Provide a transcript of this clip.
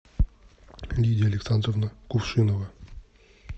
лидия александровна кувшинова